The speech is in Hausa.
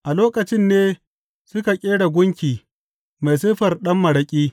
A lokacin ne suka ƙera gunki mai siffar ɗan maraƙi.